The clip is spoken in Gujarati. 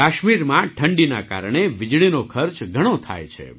કાશ્મીરમાં ઠંડીના કારણે વીજળીનો ખર્ચ ઘણો થાય છે